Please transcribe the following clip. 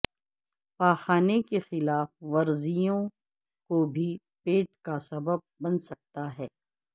پاخانے کی خلاف ورزیوں کو بھی پیٹ کا سبب بن سکتا ہے